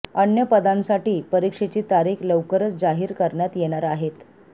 अन्य पदांसाठी परीक्षेची तारीख लवकरच जाहीर करण्यात येणार आहेत